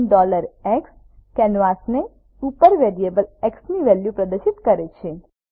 print x canvas ઉપર variable x ની value પ્રદર્શિત કરે છે